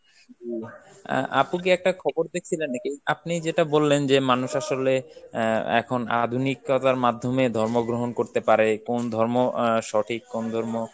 অ্যাঁ আপু কি একটা খবর দেখছিলেন নাকি? আপনি যেটা বললেন যে মানুষ আসলে অ্যাঁ এখন আধুনিকতার মাধ্যমে ধর্ম গ্রহণ করতে পারে, কোন ধর্ম অ্যাঁ সঠিক কোন ধর্ম